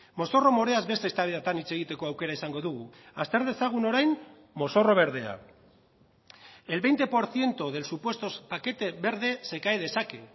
mozorro moreaz beste eztabaidetan hitz egiteko aukera izango dugu azter dezagun orain mozorro berdea el veinte por ciento del supuesto paquete verde se cae de saque